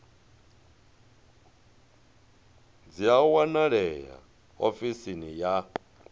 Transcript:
dzi a wanalea ofisini ya